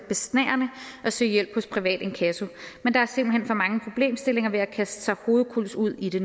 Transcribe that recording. at søge hjælp hos privat inkasso men der er simpelt hen for mange problemstillinger ved at kaste sig hovedkulds ud i det